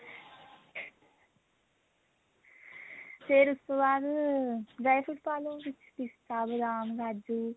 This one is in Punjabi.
ਫੇਰ ਉਸ ਤੋਂ ਬਾਅਦ dry fruit ਪਾ ਲਓ ਵਿੱਚ ਪਿਸਤਾ ਬਦਾਮ ਕਾਜੂ